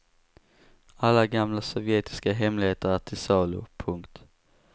Alla gamla sovjetiska hemligheter är till salu. punkt